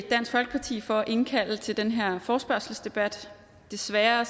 folkeparti for at indkalde til den her forespørgselsdebat desværre